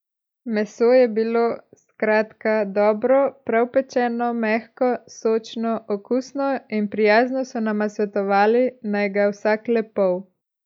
Meso je bilo, skratka, dobro, prav pečeno, mehko, sočno, okusno in prijazno so nama svetovali, naj ga vsak le pol.